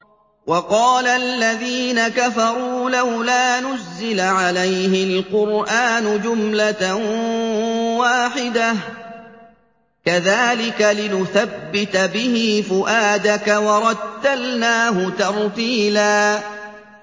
وَقَالَ الَّذِينَ كَفَرُوا لَوْلَا نُزِّلَ عَلَيْهِ الْقُرْآنُ جُمْلَةً وَاحِدَةً ۚ كَذَٰلِكَ لِنُثَبِّتَ بِهِ فُؤَادَكَ ۖ وَرَتَّلْنَاهُ تَرْتِيلًا